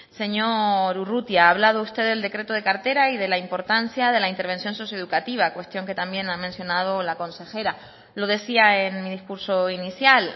señor urrutia ha hablado usted del decreto de cartera y de la importancia de la intervención socioeducativa cuestión que también ha mencionado la consejera lo decía en mi discurso inicial